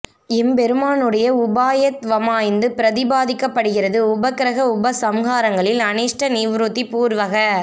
எம்பெருமானாருடைய உபாயத்வமாய்த்து பிரதிபாதிக்கப் படுகிறது உபக்கிரம உபசம்ஹாரங்களில் அநிஷ்ட நிவ்ருத்தி பூர்வக